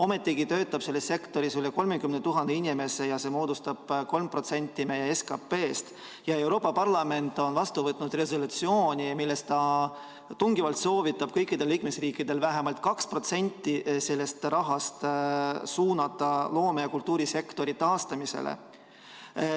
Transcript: Ometigi töötab selles sektoris üle 30 000 inimese ja see moodustab 3% meie SKP‑st. Euroopa Parlament on vastu võtnud resolutsiooni, milles ta tungivalt soovitab kõikidel liikmesriikidel vähemalt 2% sellest rahast suunata loome‑ ja kultuurisektori taastamisse.